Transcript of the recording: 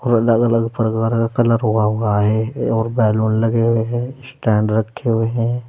अलग अलग प्रकार का कलर हुआ हुआ है और बैलून लगे हुए हैं स्टैंड रखे हुए हैं।